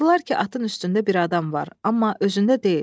Baxdılar ki, atın üstündə bir adam var, amma özündə deyil.